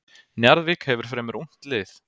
Njarðvík hefur fremur ungt lið.